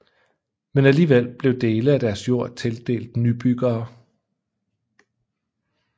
Men alligevel blev dele af deres jord tildelt nybyggere